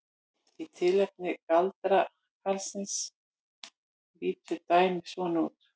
Í tilfelli galdrakarlsins lítur dæmið svona út: